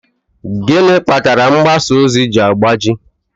Gịnị kpatara mgbasa ozi ji agbaji?